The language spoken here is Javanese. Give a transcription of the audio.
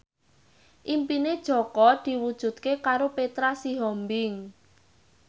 impine Jaka diwujudke karo Petra Sihombing